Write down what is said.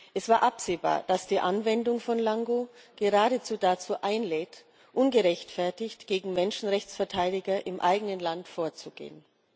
Es war absehbar, dass die Anwendung von LANGO geradezu dazu einlädt, ungerechtfertigt gegen Menschenrechtsverteidiger im eigenen Land vorzugehen.